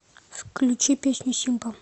включи песню симпа